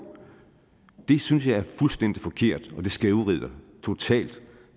synes jeg er fuldstændig forkert og det skævvrider totalt